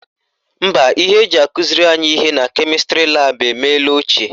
Mba, ihe eji akụziri anyị ihe na kemịstrị laabụ emela ochie